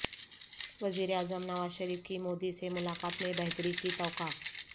وزیر اعظم نواز شریف کی مودی سے ملاقات میں بہتری کی توقع